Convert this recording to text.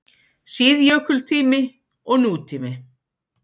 SÍÐJÖKULTÍMI OG NÚTÍMI